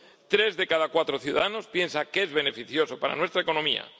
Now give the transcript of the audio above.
Tres de cada cuatro ciudadanos piensan que es beneficioso para nuestra economía.